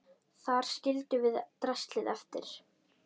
Þar skildum við draslið eftir.